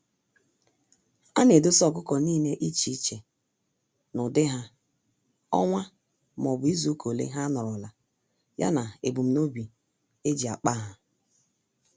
Ana edosa ọkụkọ nile iche iche; n'ụdị ha, ọnwa m'obu izuka ole ha nọrọla, ya na ebum nobi eji akpa há.